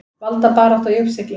Valdabarátta í uppsiglingu